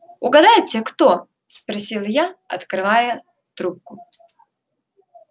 угадайте кто спросил я открывая трубку